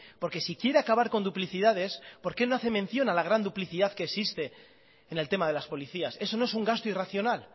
porque si quiere acabar con duplicidades porque no hace mención a la gran duplicidad que existe en el tema de las policías eso no es un gasto irracional